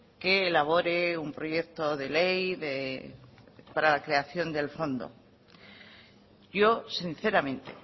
que elabore un proyecto de ley para la creación del fondo yo sinceramente